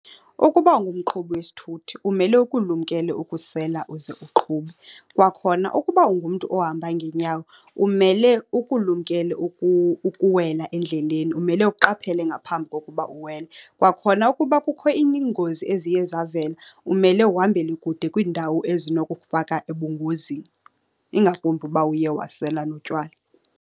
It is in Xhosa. Ukuba ungumqhubi wesithuthi umele ukulumkele ukusela uze uqhube. Kwakhona ukuba ungumntu ohamba ngeenyawo umele ukulumkele ukuwela endleleni, umele uqaphele ngaphambi kokuba uwele. Kwakhona, ukuba kukho iingozi eziye zavela umele uhambele kude kwiindawo ezinokukufaka ebungozini, ingakumbi uba uye wasela notywala.